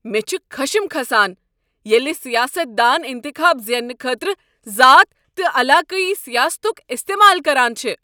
مے٘ چھُ خشم كھسان ییٚلہ سیاستدان انتخاب زیننہٕ خٲطرٕ ذات تہٕ علاقٲیی سیاستک استمال كران چھِ۔